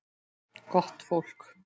Gott fólk.